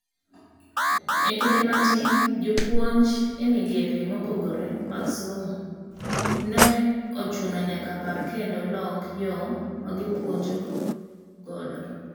Ekinde matin, jopuonj emigepe mopogre mag somo no chuno nyaka par kendo lok yo magipuojo godo.